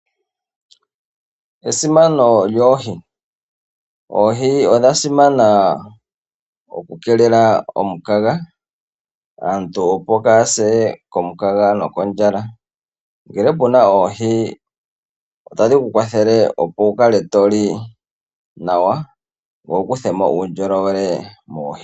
Esimano lyoohi, oohi odhasimana okukeelela omukaga aantu opo kaaya se komukaga nokondjala. Ngele opuna oohi otadhi kukwathele opo wukale to li nawa ngoye wukuthe mo uundjolowele moohi.